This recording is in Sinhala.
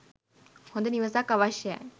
හොඳ නිවසක් අවශ්‍යයයි